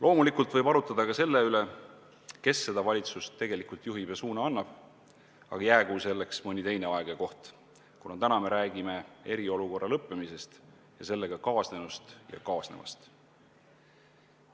Loomulikult võib arutleda ka selle üle, kes seda valitsust tegelikult juhib ja sellele suuna annab, aga jäägu selleks mõni teine aeg ja koht, kuna täna me räägime eriolukorra lõppemisest ja sellega kaasnenust ja kaasnevast.